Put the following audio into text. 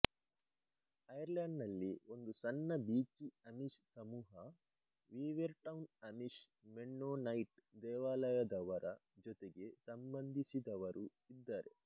ಐರ್ಲೇಂಡ್ನಲ್ಲಿ ಒಂದು ಸಣ್ಣ Beachy Amish ಸಮೂಹ ವೀವೆರ್ಟೌನ್ ಅಮಿಶ್ ಮೆನ್ನೊನೈಟ್ ದೇವಾಲಯದವರ ಜೊತೆಗೆ ಸಂಬಂಧಿಸಿದವರು ಇದ್ದಾರೆ